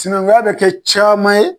Sinankunya be kɛ caaman ye